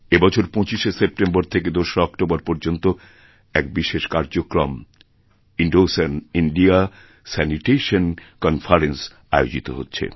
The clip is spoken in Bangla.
এবছর ২৫শে সেপ্টেম্বর থেকে ২রা অক্টোবর পর্যন্তএক বিশেষ কার্যক্রম ইন্দোসান ইন্দিয়া স্যানিটেশন কনফারেন্স আয়োজিত হচ্ছে